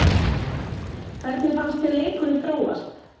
Hvernig fannst þér leikurinn þróast?